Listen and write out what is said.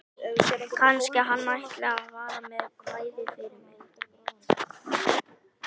Kannski hann ætli að fara með kvæði fyrir mig.